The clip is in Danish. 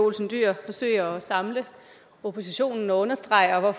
olsen dyhr forsøger at samle oppositionen og understreger hvor